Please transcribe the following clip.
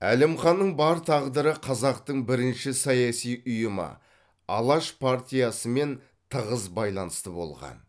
әлімханның бар тағдыры қазақтың бірінші саяси ұйымы алаш партиясымен тығыз байланысты болған